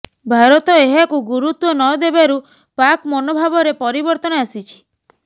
ଭାରତ ଏହାକୁ ଗୁରୁତ୍ୱ ନ ଦେବାରୁ ପାକ୍ ମନୋଭାବରେ ପରିବର୍ତ୍ତନ ଆସିଛି